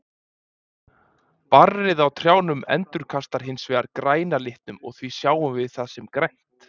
Barrið á trjánum endurkastar hins vegar græna litnum og því sjáum við það sem grænt.